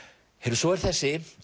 svo er þessi